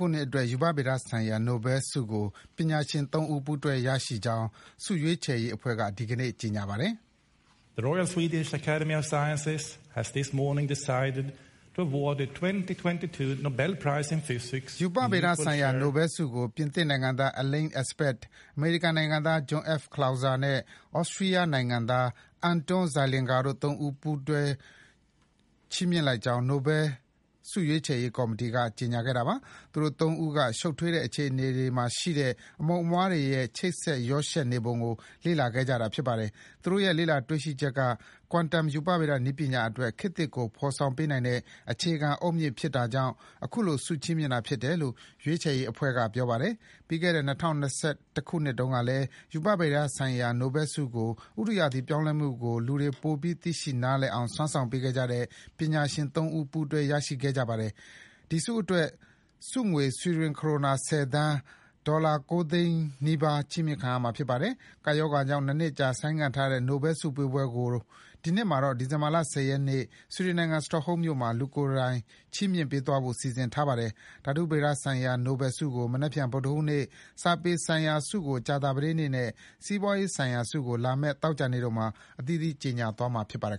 ုနှစ်အတွက် ရူပဗေဒဆိုင်ရာ နိုဘဲလ်ဆုကို ပညာရှင် ၃ ဦး ပူးတွဲရရှိကြောင်း ဆုရွေး ချယ်ရေးအဖွဲ့က ဒီကနေ့ ကြေညာပါတယ်။ ရူပဗေဒဆိုင်ရာ နိုဘဲလ်ဆုကို ပြင်သစ်နိုင်ငံသား Alain Aspect ၊ အမေရိကန်နိုင်ငံသား John F. Clauser နဲ့ သြစတြီးယားနိုင်ငံသား Anton Zeilinger တို့ ၃ ဦး ကိုပူးတွဲချီးမြှင့်ကြောင်း နိုဘဲလ်ဆုရွေးချယ်ရေး ကော်မီတီက ကြေညာတာပါ။ သူတို့ ၃ ဦးက ရှုပ်ထွေးတဲ့ အခြေအနေမှာရှိတဲ့ အမှုန်အမွှားတွေရဲ့ ချိတ်ဆက်ရောယှက်နေပုံကို လေ့လာခဲ့တာပါ။ သူတို့ရဲ့ လေ့လာတွေ့ရှိချက်က quantum ရူပဗေဒနည်းပညာ အတွက် ခေတ်သစ်ကို ဖော်ဆောင်ပေးနိုင်တဲ့ အခြေခံအုတ်မြစ်ဖြစ်တာကြောင့် အခုလို ဆုချီးမြှင့်တာဖြစ်တယ်လို့ ဆုရွေးချယ်ရေးအဖွဲ့က ကြေညာပါတယ်။ ပြီးခဲ့တဲ့၂၀၂၁ ခုနှစ်တုန်းကလည်း ရူပဗေဒဆိုင်ရာ နိုဘဲလ်ဆုကို ဥတုရာသီပြောင်းလဲမှုကို လူတွေ ပိုပြီးသိရှိနားလည်အောင် စွမ်းဆောင်ပေးခဲ့တဲ့ ပညာရှင် ၃ ဦး ပူးတွဲ ရရှိခဲ့ပါတယ်။ ဒီဆုအတွက် ဆုငွေ ဆွီဒင် ခရိုနာ ၁၀ သန်း (ဒေါ်လာ ၉ သိန်းနီးပါး) ချီးမြှင့်မှာဖြစ်ပါတယ်။ ကပ်ရောဂါကြောင့် နှစ်နှစ်ကြာ ဆိုင်းငံ့ထားတဲ့ နိုဘယ်ဆုပေးပွဲတွေကို ဒီနှစ်မှာတော့ ဒီဇင် ဘာလ ၁၀ ရက်ကျရင် ဆွီဒင်နိုင်ငံ၊ စတော့ဟုမ်းမြို့မှာ လူကိုယ်တိုင်ချီးမြှင့်ပေးသွားဖို့ စီစဉ်ထားပါတယ်။ ဓာတုဗေဒဆိုင်ရာ နိုဘယ်ဆုကို မနက်ဖြန် ဗုဒ္ဓဟူးနေ့၊ စာပေဆိုင်ရာဆုကို ကြာသပတေးနေ့နဲ့ စီးပွါးရေးဆိုင်ရာဆုကို လာမယ့် သောကြာနေ့တို့မှာ အသီးသီး ကြေညာသွားမှာဖြစ်ပါတယ်